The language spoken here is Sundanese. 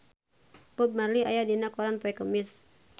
Bob Marley aya dina koran poe Kemis